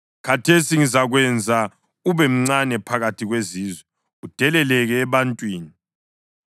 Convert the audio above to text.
“Khathesi ngizakwenza ube mncane phakathi kwezizwe, udeleleke ebantwini.